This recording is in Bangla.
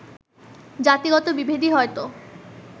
জাতিগত বিভেদই হয়ত